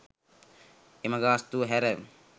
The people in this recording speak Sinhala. එම ගාස්‌තුව හැර